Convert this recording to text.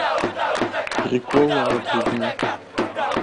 приколы над людьми